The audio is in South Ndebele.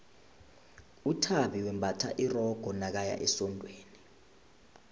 uthabi wembatha isikerde nakaya esondweni